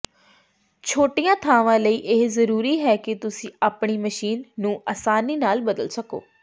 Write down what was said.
ਛੋਟੀਆਂ ਥਾਵਾਂ ਲਈ ਇਹ ਜ਼ਰੂਰੀ ਹੈ ਕਿ ਤੁਸੀਂ ਆਪਣੀ ਮਸ਼ੀਨ ਨੂੰ ਆਸਾਨੀ ਨਾਲ ਬਦਲ ਸਕੋ